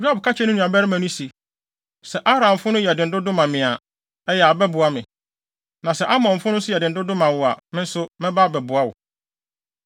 Yoab ka kyerɛɛ ne nuabarima no se, “Sɛ Aramfo no yɛ den dodo ma me a, ɛyɛ a, bɛboa me. Na sɛ Amonfo no nso yɛ den dodo ma wo a, me nso, mɛba abɛboa wo.